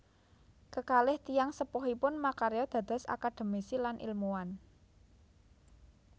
Kekalih tiyang sepuhipun makarya dados akademisi lan ilmuwan